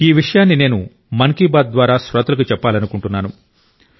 ఈ విషయాన్ని నేను మన్ కి బాత్ శ్రోతలకు చెప్పాలనుకుంటున్నాను